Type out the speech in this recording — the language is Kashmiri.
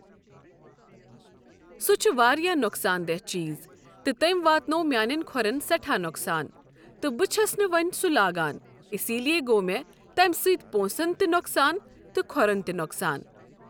سُہ چھُ واریاہ نۄقصان دِہ چیٖز تہٕ تٔمۍ واتنوو میانٮ۪ن کھوٚرن سٮ۪ٹھاہ نۄقصان تہٕ بہٕ چھس نہٕ وۄنۍ سُہ لاگان اسلیے گوٚو مےٚ تمِہ سۭتۍ پونسن تہِ نۄقصان تہٕ کھۄرن تہِ نۄقصان۔